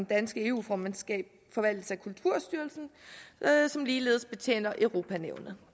danske eu formandskab forvaltes af kulturstyrelsen som ligeledes betjener europa nævnet